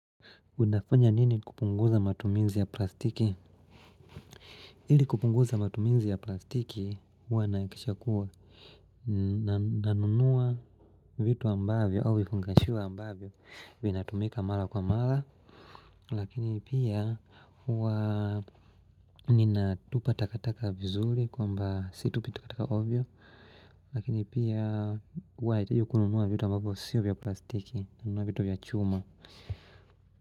Unafunya nini kupunguza matumizi ya plastiki? Ili kupunguza matumizi ya plastiki, huwa nahakisha kuwa na nunuwa vitu ambavyo au vifungashiwa ambavyo vinatumika mara kwa mara Lakini pia huwa ninatupa takataka vizuri kwamba situpi takataka ovyo Lakini pia huwa najaribu kununua vitu ambavyo sio vya plastiki, nanunua vitu vya chuma.